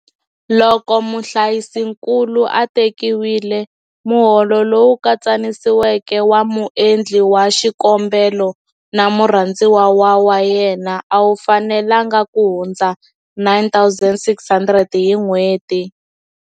Loko muhlayisinkulu a tekiwile, muholo lowu katsanisiweke wa muendli wa xikombelo na murhandziwa wa yena a wu fanelangi kuhundza R9 600 hi nhweti.